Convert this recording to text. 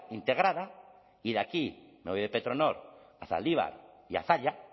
integrada y de aquí me voy de petronor a zaldibar y a zalla